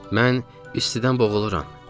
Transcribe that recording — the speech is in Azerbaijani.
Mən "istidən boğuluram" dedim.